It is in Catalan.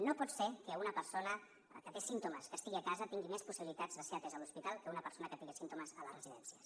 no pot ser que una persona que té símptomes que estigui a casa tingui més possibilitats de ser atesa a l’hospital que una persona que tingui símptomes a les residències